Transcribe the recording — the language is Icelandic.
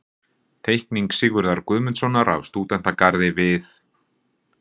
Teikning Sigurðar Guðmundssonar af stúdentagarði við